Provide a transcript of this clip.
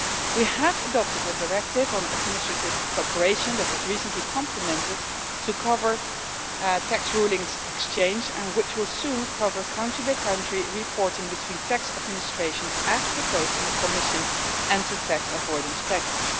We have adopted a directive on administrative cooperation that was recently complemented to cover tax rulings exchange and which will soon cover country-by-country reporting between tax administrations, as proposed in the Commission's Anti-Tax Avoidance Package.